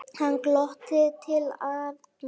Hann glotti til Arnar.